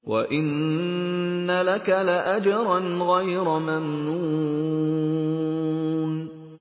وَإِنَّ لَكَ لَأَجْرًا غَيْرَ مَمْنُونٍ